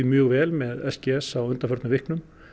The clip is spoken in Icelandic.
mjög vel með s g s á undanförnum vikum